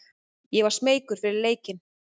Ég var smeykur fyrir leikinn.